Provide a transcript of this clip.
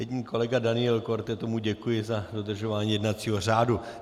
Jedině kolega Daniel Korte, tomu děkuji za dodržování jednacího řádu.